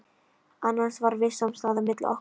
Annars var viss samstaða milli okkar